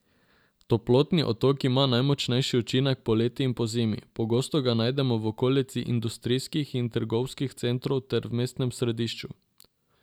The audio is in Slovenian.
Toplotni otok ima najmočnejši učinek poleti in pozimi, pogosto ga najdemo v okolici industrijskih in trgovskih centrov ter v mestnem središču.